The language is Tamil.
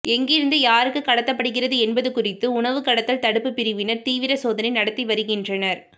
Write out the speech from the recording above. எங்கிருந்து யாருக்கு கடத்தப்படுகிறது என்பது குறித்து உணவு கடத்தல் தடுப்பு பிரிவினர் தீவிர சோதனை நடத்தி வருகின்றனர்